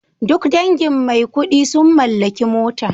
Duk dangin Maikudi sun mallaki mota